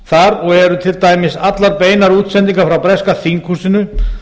þar og eru til dæmis allar beinar útsendingar frá breska þinghúsinu